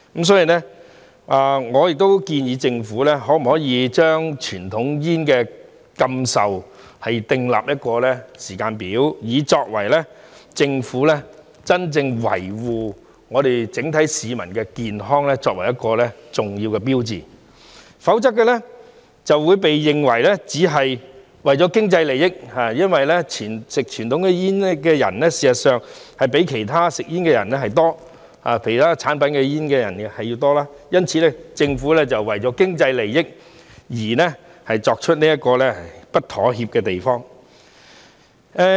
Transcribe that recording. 所以，我建議政府可否就禁售傳統煙訂立時間表，作為政府真正維護整體市民健康的重要標誌，否則便會被認為只是為了經濟利益，因為吸食傳統煙的人事實上比吸食其他煙類產品的人多，因此政府為了經濟利益而不會在這方面作出妥協。